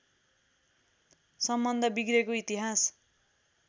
सम्बन्ध बिग्रेको इतिहास